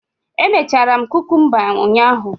Emechara m kukumba ụnyahụ